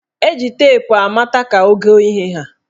Eji teepu amata ka ogo ihe haa.